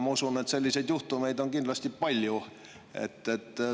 Ma usun, et selliseid juhtumeid on kindlasti palju.